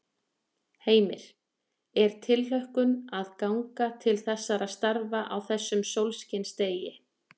Heimir: Er tilhlökkun að ganga til þessara starfa á þessum sólskinsdegi?